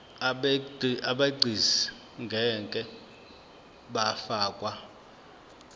abegcis ngeke bafakwa